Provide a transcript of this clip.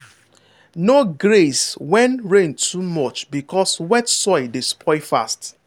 no graze when rain too much because wet soil dey spoil fast.